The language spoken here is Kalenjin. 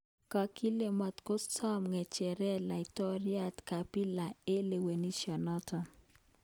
Kakile matkosom ng'echeret laitoryat Kabila eng kalewenisyenoto